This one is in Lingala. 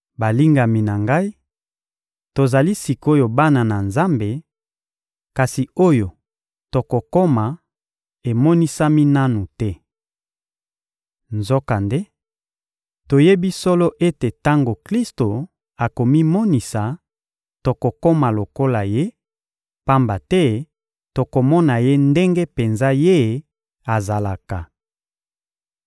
Balingami na ngai, tozali sik’oyo bana na Nzambe; kasi oyo tokokoma emonisami nanu te. Nzokande, toyebi solo ete tango Klisto akomimonisa, tokokoma lokola Ye; pamba te tokomona Ye ndenge penza Ye azalaka.